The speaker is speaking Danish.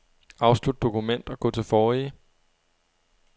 Afslut dokument og gå til forrige.